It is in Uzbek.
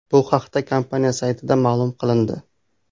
Bu haqda kompaniya saytida ma’lum qilindi.